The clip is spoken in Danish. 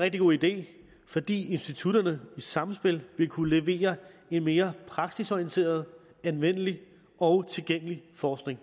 rigtig god idé fordi institutterne i sammenspil vil kunne levere en mere praksisorienteret anvendelig og tilgængelig forskning